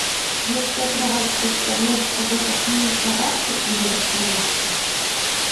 детская кровать представляет собой как мини кроватку или раскладушку